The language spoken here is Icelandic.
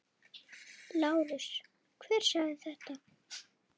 LÁRUS: Hver sagði þetta?